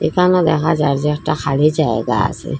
এখানে দেহা যায় যে একটা খালি জায়গা আসে।